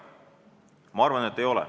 Ma arvan, et ei ole.